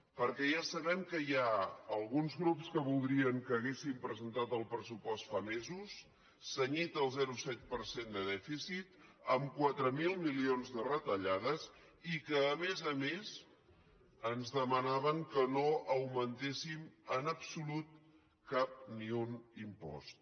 perquè ja sabem que hi ha alguns grups que voldrien que haguéssim presentat el pressupost fa mesos cenyit al zero coma set per cent de dèficit amb quatre mil milions de retallades i que a més a més ens demanàvem que no augmentéssim en absolut cap ni un impost